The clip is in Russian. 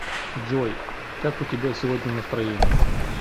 джой как у тебя сегодня настроение